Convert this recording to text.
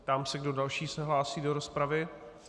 Ptám se, kdo další se hlásí do rozpravy.